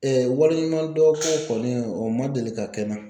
waleɲumandɔn ko kɔni o ma deli ka kɛ n na.